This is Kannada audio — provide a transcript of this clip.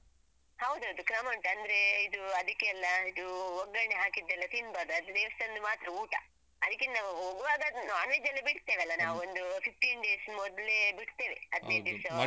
ಹೌದೌದು ಕ್ರಮ ಉಂಟು ಅಂದ್ರೇ ಇದು ಅದಕ್ಕೆಲ್ಲ ಇದು ಒಗ್ಗರಣೆ ಹಾಕಿದ್ದೆಲ್ಲ ತಿನ್ಬಾರ್ದು ಅದು ದೇವಸ್ಥಾನದ್ದು ಮಾತ್ರ ಊಟ ಅದಕ್ಕೆ ನಾವು ಹೋಗುವಾಗ non-veg ಎಲ್ಲ ಬಿಡ್ತೇವಲ್ಲ ನಾವು ಒಂದು fifteen days ಮೊದ್ಲೇ ಬಿಡ್ತೇವೆ ಹದಿನೈದು ದಿವ್ಸದ.